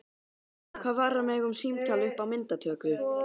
Hvað varðar mig um símtal upp á myndatöku?